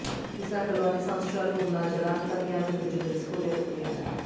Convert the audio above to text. విశాఖలో అన్ని సంవత్సరాలు ఉన్నా జలాంతర్యామి గురించి తెలుసుకోలేక పోయాము